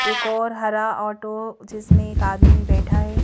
एक और हरा ऑटो जिसमें एक आदमी बैठा है।